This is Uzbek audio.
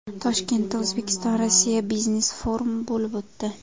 Toshkentda O‘zbekistonRossiya biznes-forumi bo‘lib o‘tdi.